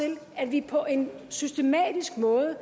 til at vi på en systematisk måde